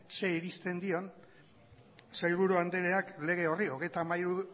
zer irizpen dion sailburu andreak lege horri hogeita hamairu